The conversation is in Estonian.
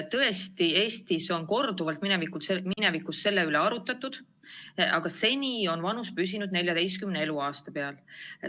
Tõesti, Eestis on minevikus korduvalt selle üle arutletud, aga seni on vanusepiir püsinud 14. eluaasta peal.